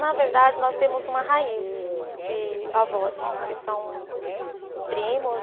Na verdade, nós temos uma raiz de avós, que são primos.